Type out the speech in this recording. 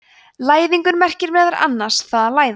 læðingur merkir meðal annars „það að læðast“